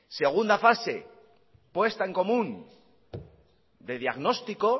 segunda fase puesta en común de diagnóstico